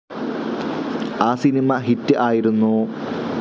ആ സിനിമ ഹിറ്റ്‌ ആയിരുന്നു.